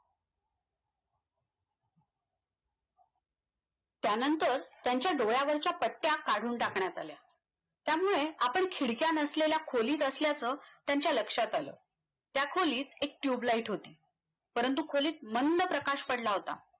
त्यानंतर त्यांच्या डोळ्यावरच्या पट्ट्या काढून टाकण्यात आल्या त्यामुळे आपण खिडक्या नसलेल्या खोलीत असल्याचं त्यांच्या लक्षात आलं त्या खोलीत एक Tubeligth होती परंतू खोलीत मंद प्रकाश पडला होता